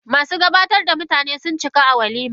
Masu gabatar da mutane, sun cika a walimar?